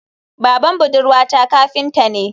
Baban budurwata kafinta ne